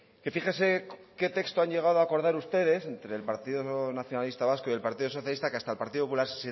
que fíjese qué texto han llegado a acordar ustedes entre el partido nacionalista vasco y el partido socialista que hasta el partido popular